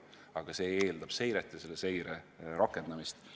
Aga see eeldab seiret ja selle seire tulemuste rakendamist.